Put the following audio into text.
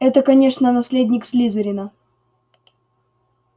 это конечно наследник слизерина